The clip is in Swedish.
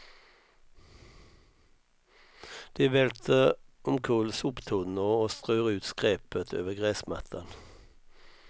De välter omkull soptunnor och strör ut skräpet över gräsmattan.